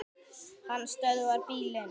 Hann stöðvar bílinn.